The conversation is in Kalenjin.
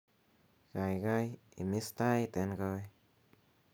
gaigai imis tait en koi